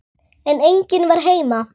Ég sneri mér við.